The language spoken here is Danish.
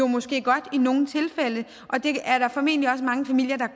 måske godt i nogle tilfælde og det er der formentlig også mange familier der